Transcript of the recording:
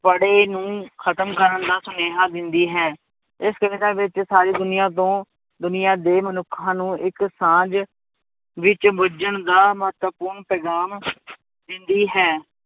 ਪਾੜੇ ਨੂੰ ਖਤਮ ਕਰਨ ਦਾ ਸੁਨੇਹਾਂ ਦਿੰਦੀ ਹੈ, ਇਸ ਕਵਿਤਾ ਵਿੱਚ ਸਾਰੀ ਦੁਨੀਆਂ ਤੋਂ ਦੁਨੀਆਂ ਦੇ ਮਨੁੱਖਾਂ ਨੂੰ ਇੱਕ ਸਾਂਝ ਵਿੱਚ ਬੁੱਝਣ ਦਾ ਮਹੱਤਵਪੂਰਨ ਪੈਗਾਮ ਦਿੰਦੀ ਹੈ,